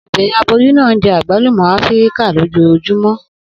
Obinrin aboyun naa njẹ agbalumo Afirika lojoojumọ.